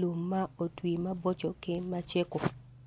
lum ma otwi maboco ki macego.